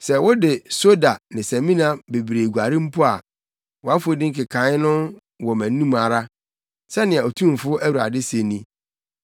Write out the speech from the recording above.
Sɛ wode soda ne samina bebree guare mpo a, wʼafɔdi nkekae da so wɔ mʼanim ara,” sɛnea Otumfo Awurade se ni.